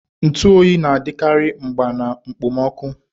Ntu oyi ga-adịkarị mgba na mkpomoku.